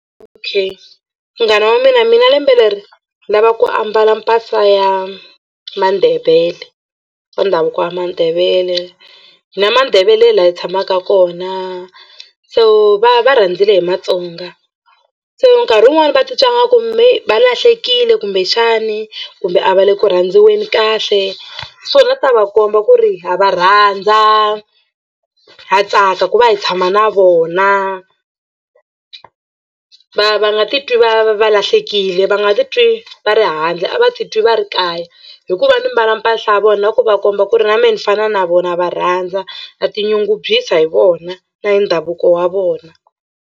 Okay munghana wa mina mina lembe leri ni lava ku ambala mpahla ya Mandebele ya ndhavuko Mandebele. Hi na Mandebele laha hi tshamaka kona so va va rhendzele hi Matsonga se nkarhi wun'wani va titwa nga ku va lahlekile kumbexani kumbe a va le ku rhandziweni kahle so ni la ta va komba ku ri ha va rhandza ha tsaka ku va hi tshama na vona va va nga titwi va va lahlekile va nga titwi va ri handle a va titwi va ri kaya hikuva ni mbala mpahla ya vona na ku va komba ku ri na mehe ni fana na vona va rhandza na tinyungubyisa hi vona na hi ndhavuko wa vona.